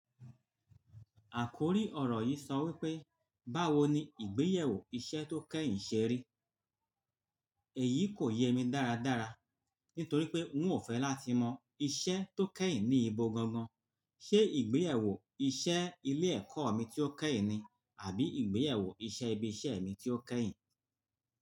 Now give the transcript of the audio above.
Àkórí ọ̀rọ̀ yìí sọ wípé, 'báwo ni ìgbéyàwó iṣẹ́ tó kẹ́yìn ṣe rí?' Èyí kò yẹ mí dáradára nítorí pé n ó fẹ́ láti mọ iṣẹ́ tó kẹ́yìn ní ibo gangan. Ṣé ìgbéyàwó iṣẹ́ ilé ẹ̀kọ́ mi tí ó kẹ́yìn ni àbí ìgbéyàwó iṣẹ́ ibi iṣẹ́ mi tí ó kẹ́yìn?